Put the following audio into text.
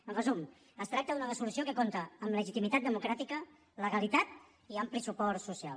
en resum es tracta d’una resolució que compta amb legitimitat democràtica legalitat i ampli suport social